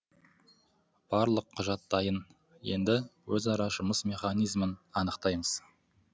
барлық құжат дайын енді өзара жұмыс механизмін анықтаймыз